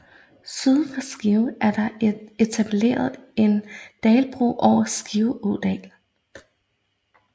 Syd for Skive er der etableret en dalbro over Skive Ådal